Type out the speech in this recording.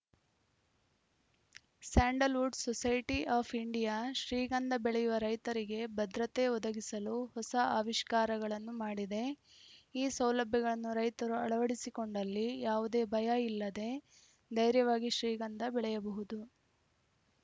Sandalwood society of India ಶ್ರೀಗಂಧ ಬೆಳೆಯುವ ರೈತರಿಗೆ ಭದ್ರತೆ ಒದಗಿಸಲು ಹೊಸ ಆವಿಷ್ಕಾರಗಳನ್ನು ಮಾಡಿದೆ ಈ ಸೌಲಭ್ಯಗಳನ್ನು ರೈತರು ಅಳವಡಿಸಿಕೊಂಡಲ್ಲಿ ಯಾವುದೇ ಭಯ ಇಲ್ಲದೇ ಧೈರ್ಯವಾಗಿ ಶ್ರೀಗಂಧ ಬೆಳೆಯಬಹುದು